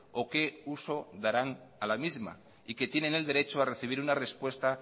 o qué uso darán a la misma y que tienen el derecho a recibir una respuesta